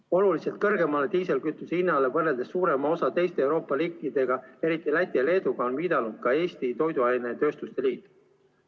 Oluliselt kõrgemale diislikütuse hinnale võrreldes suurema osa teiste Euroopa riikidega, eriti Läti ja Leeduga, on viidanud ka Eesti Toiduainetööstuse Liit.